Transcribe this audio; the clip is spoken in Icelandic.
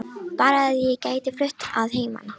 Bara að ég gæti flutt að heiman